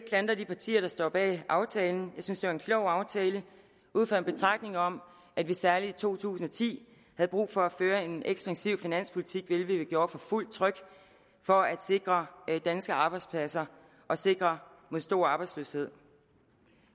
klandre de partier der står bag aftalen jeg synes det var en klog aftale ud fra en betragtning om at vi særlig i to tusind og ti havde brug for at føre en ekspansiv finanspolitik hvilket vi gjorde for fuldt tryk for at sikre danske arbejdspladser og sikre mod stor arbejdsløshed